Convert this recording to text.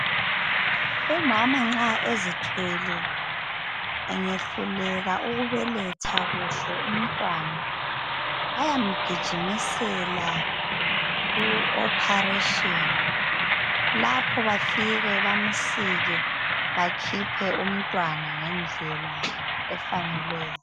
Umama nxa ezithwele angayehluleka ukubeletha kuhle umntwana, bayamgijimisela ku' operation'. Lapho bafike bamsike bakhiphe umntwana ngendlela efaneleyo.